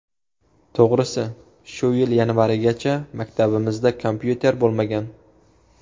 To‘g‘risi, shu yil yanvarigacha maktabimizda kompyuter bo‘lmagan.